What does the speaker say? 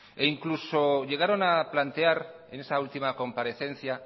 incluso llegaron a plantear en esa última comparecencia